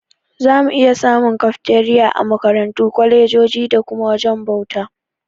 Zamu iya samun Kafteriya a Makarantu, kwalejoji da kuma wajajen bauta.